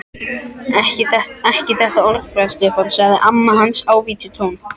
Ekki þetta orðbragð, Stefán sagði amma hans í ávítunartón.